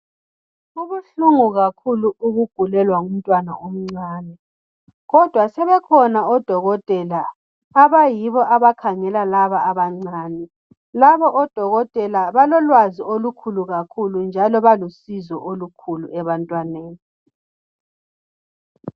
Kubuhlungu kakhulu ukugulelwa ngumntwana omcane, kodwa sebekhona odokotela abayibo abakhangela laba abancane. Labo odokotela balolwazi olukhulu kakhulu njalo balusizo olukhulu ebantwaneni.